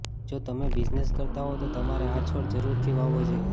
જો તમે બિઝનેસ કરતા હોવ તો તમારે આ છોડ જરૂરથી વાવવો જોઈએ